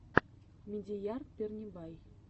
мадияр пернебай